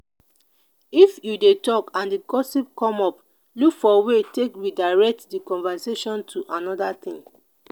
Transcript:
if you dey talk and di gossip come up look for way take redirect di conversation to anoda thing